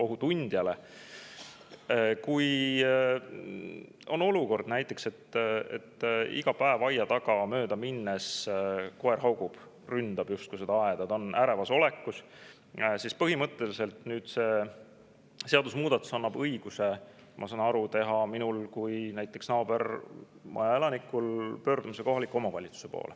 Kui on näiteks selline olukord, et iga päev, kui ma aia tagant mööda lähen, koer haugub mu peale, ründab justkui aeda, on ärevas olekus, siis põhimõtteliselt see seadusemuudatus annab mulle õiguse, ma saan aru, pöörduda naabermaja elanikuna kohaliku omavalitsuse poole.